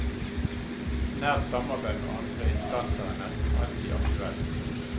Nært samarbeid med andre instanser er nesten alltid aktuelt.